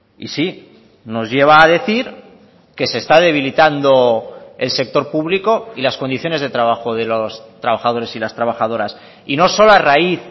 y sí nos lleva a decir que se está debilitando el sector público y las condiciones de trabajo de los trabajadores y las trabajadoras y no solo a raíz